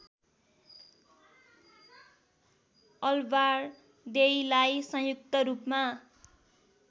अलबारदेईलाई संयुक्त रूपमा